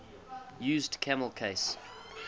used camel case